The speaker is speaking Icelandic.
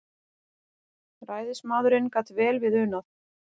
Ræðismaðurinn gat vel við unað.